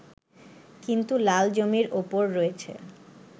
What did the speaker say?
কিন্তু লাল জমির ওপর রয়েছে